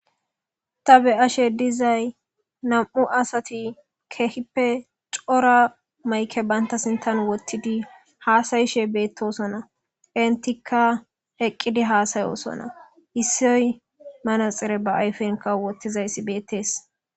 Ta be ashe dizay nam'u asati kehippe cora mayke baynta sintan wottidi haasayishe beettosonna intikka eqqidi haasayosonna issoy manaxire ba ayfenka wottizayssi beettees.